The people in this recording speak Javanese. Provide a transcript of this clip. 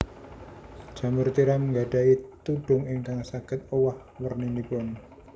Jamur tiram nggadhahi tudhung ingkang saged owah werninipun